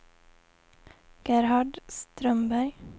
Gerhard Strömberg